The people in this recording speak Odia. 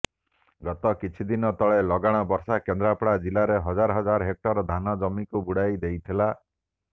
ଗତ କିଛିଦିନ ତଳେ ଲଗାଣ ବର୍ଷା କେନ୍ଦ୍ରାପଡ଼ା ଜିଲ୍ଲାରେ ହଜାର ହଜାର ହେକ୍ଟର ଧାନ ଜମିକୁ ବୁଡ଼ାଇ ଦେଇଥିଲା